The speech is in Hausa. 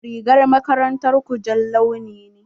Rigar makarantar ku jan launi ne?